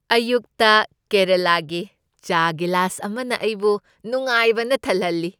ꯑꯌꯨꯛꯇ ꯀꯦꯔꯂꯥꯒꯤ ꯆꯥ ꯒꯤꯂꯥꯁ ꯑꯃꯅ ꯑꯩꯕꯨ ꯅꯨꯡꯉꯥꯏꯕꯅ ꯊꯜꯍꯜꯂꯤ꯫